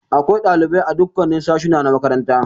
Akwai ɗalibai a dukkan sashuna na makaranta.